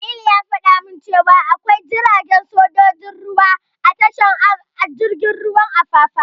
Jamilu ya fada min cewa akwai jiragen sojojin ruwa a tashar jirgin ruwan Apapa.